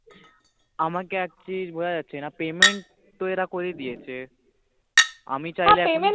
আমাকে একটা জিনিস বুজা যাচ্ছে না payment তো এরা করে দিয়েছে আমি হ্য়াঁ payment